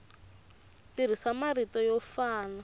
tirhisa marito yo fana na